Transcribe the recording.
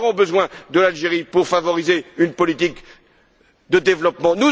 Nous aurons besoin de l'Algérie pour favoriser une politique de développement.